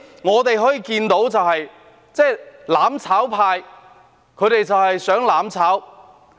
我們可以看到，"攬炒派"只想"攬炒"。